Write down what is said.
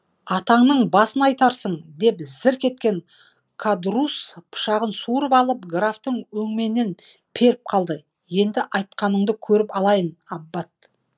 атаңның басын айтарсың деп зірк еткен кадрусс пышағын суырып алып графтың өңменінен періп қалды енді айтқаныңды көріп алайын аббат